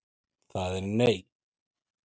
Það er nei.